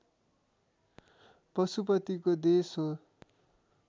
पशुपतिको देश हो